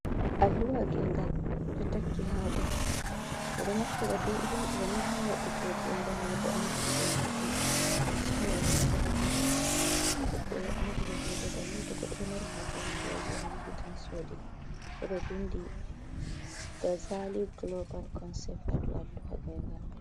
Alluha gengal d'o takki ha dou. 'Be d'o naftira be irin d'oni ha wadugoo gengal ma bo andungo himbe ko be soorata ha babal d'o; 'be d'o andina himbe banni to godɗo do mari ha je hundi. A yi'an tan yahi sodi bo do vindi "Gazali Golobal Konsep" ha dow al luha gengal mai.